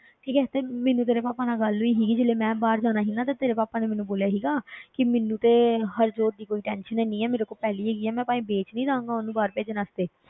ਠੀਕ ਹੈ ਤੇ ਮੈਨੂੰ ਤੇਰੇ ਪਾਪਾ ਨਾਲ ਗੱਲ ਹੋਈ ਸੀਗੀ ਜਦੋਂ ਮੈਂ ਬਾਹਰ ਜਾਣਾ ਸੀਗਾ ਤੇ ਤੇਰੇ ਪਾਪਾ ਨੇ ਮੈਨੂੰ ਬੋਲਿਆ ਸੀਗਾ ਕਿ ਮੈਨੂੰ ਤੇ ਹਰਜੋਤ ਦੀ ਕੋਈ tension ਹੈਨੀ ਹੈ, ਮੇਰੇ ਕੋਲ ਪੈਲੀ ਹੈਗੀ ਹੈ, ਮੈਂ ਭਾਵੇਂ ਵੇਚ ਵੀ ਦਊਂਗਾ ਉਹਨੂੰ ਬਾਹਰ ਭੇਜਣ ਵਾਸਤੇ,